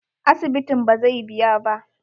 Asibitin bazai biya ba.